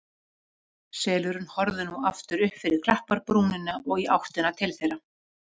Selurinn horfði nú aftur upp fyrir klapparbrúnina og í áttina til þeirra.